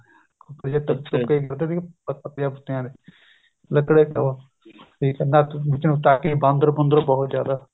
ਬਾਂਦਰ ਬੁੰਦਰ ਬਹੁਤ ਜਿਆਦਾ